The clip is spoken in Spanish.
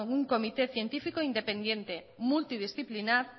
un comité científico independiente multidisciplinar